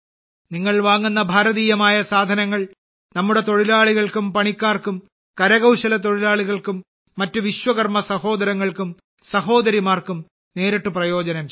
നിങ്ങൾ വാങ്ങുന്ന ഭാരതീയമായ സാധനങ്ങൾ നമ്മുടെ തൊഴിലാളികൾക്കും പണിക്കാർക്കും കരകൌശല തൊഴിലാളികൾക്കും മറ്റ് വിശ്വകർമ സഹോദരങ്ങൾക്കും സഹോദരിമാർക്കും നേരിട്ട് പ്രയോജനം ചെയ്യും